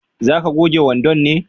za ka goge wandon ne?